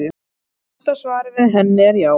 Stutta svarið við henni er já.